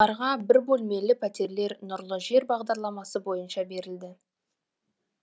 оларға бір бөлмелі пәтерлер нұрлы жер бағдарламасы бойынша берілді